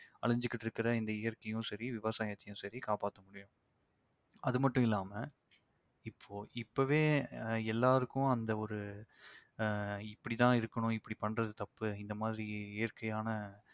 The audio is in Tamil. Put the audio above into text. அழிஞ்சிகிட்டிருக்கிற இந்த இயற்கையும் சரி விவசாயத்தையும் சரி காப்பாத்த முடியும் அதுமட்டுமில்லாம இப்போ இப்பவே எல்லாருக்கும் அந்த ஒரு அஹ் இப்படி தான் இருக்கணும் இப்படி பண்றது தப்பு இந்த மாதிரி இயற்கையான